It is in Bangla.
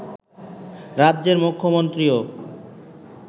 রাজ্যের মুখ্যমন্ত্রীও